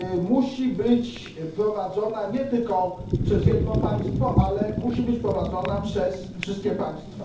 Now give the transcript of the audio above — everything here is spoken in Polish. musi być prowadzona nie tylko przez jedno państwo, ale musi być prowadzona przez wszystkie państwa.